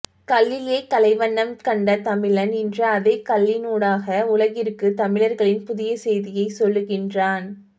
கல்லிலே கலைவண்ணம் கண்ட தமிழன் இன்று அதே கல்லினூடாக உலகிற்கு தமிழர்களின் புதிய செய்தியை சொல்லுகின்றான்